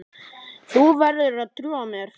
Þú verður að trúa mér.